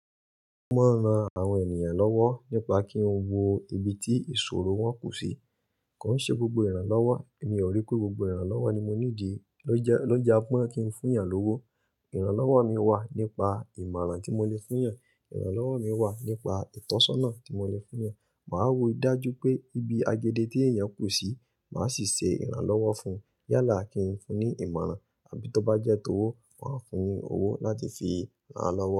Mo máa ń ran àwọn ènìyàn lọ́wọ́ nípa kí ń wo ibi tí ìṣòro wọ́n kù sí. Kò ń ṣe gbogbo ìrànlọ́wọ́. Èmi ò rí pé gbogbo ìrànlọ́wọ́ ni mo ní dí lójá mọ́ kí ń fún èyàn lówó. Ìrànlọ́wọ́ mi wà nípa ìmọ̀ràn tí mo lè fún yàn, ìrànlọ́wọ́ mi wà nípa ìtọ́sọ́nà tí mo lè fún yàn. Màá wo dájú pé ibi agèdé tí èyàn kù sí, màá sì ṣe ìrànlọ́wọ́ fún yálà kí ń fún ní ìmọ̀ràn, àbí tó bá jẹ́ tówó, màá fún ní owó láti fi ràn lọ́wọ́.